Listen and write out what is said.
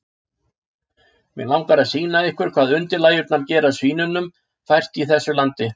Mig langar að sýna ykkur hvað undirlægjurnar gera svínunum fært í þessu landi.